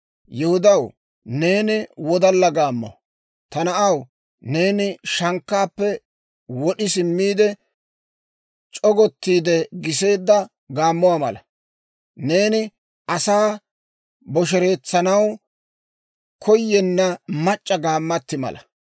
Yihudaw, neeni wodalla gaammo. Ta na'aw, neeni shankkaappe wod'i simmiide, c'ogottiide giseedda gaammuwaa mala. Neeni asaa bosheretsanaw koyenna mac'c'a gaammatti mala.